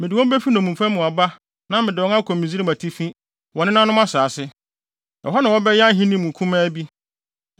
Mede wɔn befi nnommumfa mu aba na mede wɔn akɔ Misraim Atifi, wɔn nenanom asase. Ɛhɔ na wɔbɛyɛ ahenni mu kumaa bi.